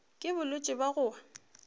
ke bolwetši bja go wa